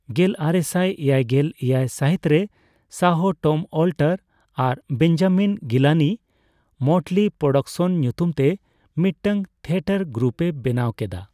ᱜᱮᱞᱟᱨᱮᱥᱟᱭ ᱮᱭᱟᱭᱜᱮᱞ ᱮᱭᱟᱭ ᱥᱟᱹᱦᱤᱛᱨᱮ ᱥᱟᱦᱚ, ᱴᱚᱢ ᱚᱞᱴᱟᱨ ᱟᱨ ᱵᱮᱧᱡᱟᱢᱤᱱ ᱜᱤᱞᱟᱱᱤ ᱢᱚᱴᱞᱤ ᱯᱨᱳᱰᱟᱠᱥᱚᱱ ᱧᱩᱛᱩᱢᱛᱮ ᱢᱤᱫᱴᱟᱝ ᱛᱷᱤᱭᱮᱴᱟᱨ ᱜᱨᱩᱯᱮ ᱵᱮᱱᱟᱣ ᱠᱮᱫᱟ ᱾